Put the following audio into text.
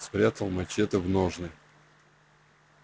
спрятал мачете в ножны